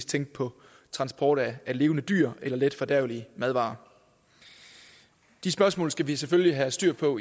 tænke på transport af levende dyr eller letfordærvelige madvarer de spørgsmål skal vi selvfølgelig have styr på